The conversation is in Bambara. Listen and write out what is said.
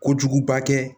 Kojuguba kɛ